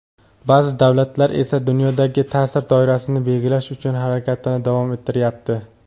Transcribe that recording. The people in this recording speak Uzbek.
Ba’zi davlatlar esa dunyodagi ta’sir doirasini belgilash uchun harakatini davom ettiryapti.